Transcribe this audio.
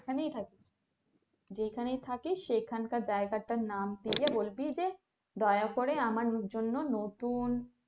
এখানেই থাকিস যেখানেই থাকিস সেখানকার জায়গাটার নাম দিয়ে বলবি যে দয়া করে আমার জন্য নতুন,